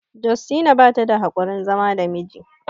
Justina bata da haƙurin zama da miji